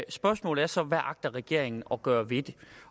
spørgsmålet er så hvad agter regeringen at gøre ved det